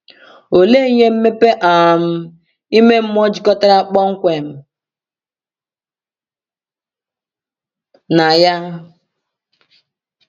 Olee ihe mmepe um ime mmụọ jikọtara kpọmkwem na ya?